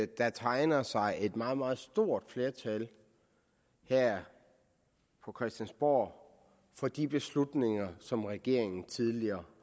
der tegner sig et meget meget stort flertal her på christiansborg for de beslutninger som regeringen tidligere